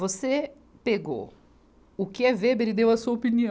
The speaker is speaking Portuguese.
Você pegou o que é Weber e deu a sua opinião.